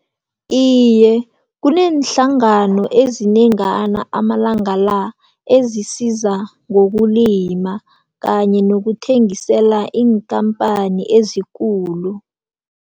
Iye, kuneenhlangano ezinengana amalanga la ezisiza ngokulima kanye nokuthengisela iinkhamphani ezikulu.